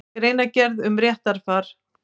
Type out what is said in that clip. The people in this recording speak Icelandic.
Greinargerð um réttarfar.